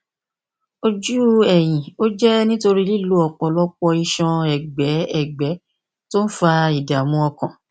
ojú ẹyin ó jẹ nítorí lílo ọpọlọpọ iṣan ẹgbẹ ẹgbẹ tí ó ń fa ìdààmú ọkàn